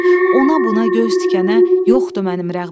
Ona buna göz tikənə yoxdu mənim rəğbətim.